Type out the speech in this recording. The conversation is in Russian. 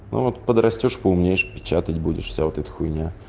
ну вот подрастёшь поумнеешь печатать будешь вся вот эта хуйня